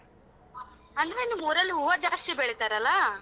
ಅಂದ್ರೆ ನಿಮ್ಮೂರಲ್ ಹೂವ ಜಾಸ್ತಿ ಬೆಳಿತಾರಲ್ಲ?